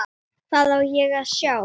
Hvað á ég að sjá?